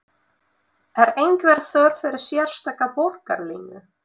Er einhver þörf fyrir sérstaka borgarlínu?